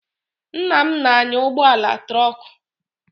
Nna m na-anya ụgbọala trọkụ.